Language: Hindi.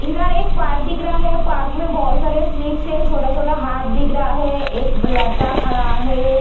इधर एक पार्क दिख रहा है पार्क में बोहोत सारे स्लीप्स है छोटा-छोटा हाट दिख रहा है एक लड़का खड़ा है।